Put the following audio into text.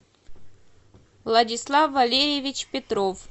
владислав валерьевич петров